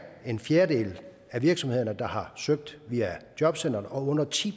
en fjerdedel af virksomhederne der har søgt via jobcentret og under ti